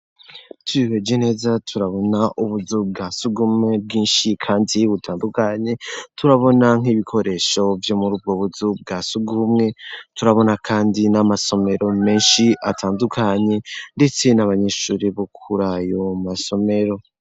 Twihweje neza turabona ubuzu bwa sugumwe bwinshi kandi bubutandukanye kandi turabona n'ibikoresho vyo muri ubwo buzu bwa sugumwe, turabona kandi n'amasomero menshi atandukanye ndetse n'abanyeshuri bo kuri ayo masomero.